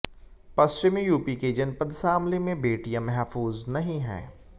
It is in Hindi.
पश्चिमी यूपी के जनपद शामली में बेटियां महफूज नहीं हैं